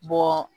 Bɔ